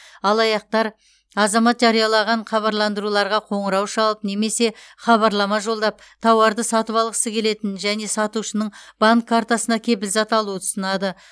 алаяқтар азамат жариялаған хабарландыруларға қоңырау шалып немесе хабарлама жолдап тауарды сатып алғысы келетінін және сатушының банк картасына кепілзат алуды ұсынады